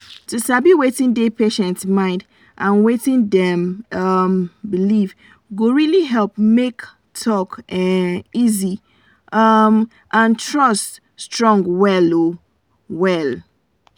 to sabi wetin dey patient mind and wetin dem um believe go really help make talk um easy um and trust strong well well.